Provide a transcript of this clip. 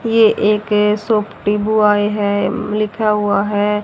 यह एक है लिखा हुआ है।